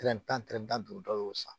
Tɛrɛ tan tɛrɛ tan duuru dɔw y'o san